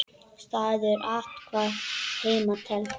Staður athvarf heima telst.